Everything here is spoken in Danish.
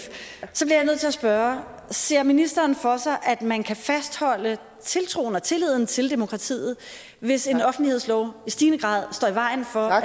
spørge ser ministeren for sig at man kan fastholde tiltroen og tilliden til demokratiet hvis en offentlighedslov i stigende grad står i vejen for at